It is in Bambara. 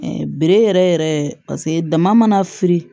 bere yɛrɛ yɛrɛ paseke dama mana firi